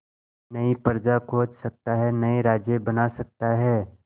नई प्रजा खोज सकता है नए राज्य बना सकता है